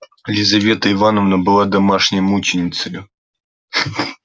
лизавета ивановна была домашней мученицею